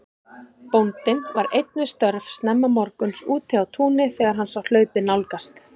Bóndinn var einn við störf snemma morguns úti á túni þegar hann sá hlaupið nálgast.